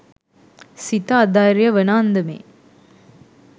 සිත අධෛර්ය වන අන්දමේ